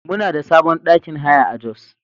Muna da sabon ɗakin haya a Jos.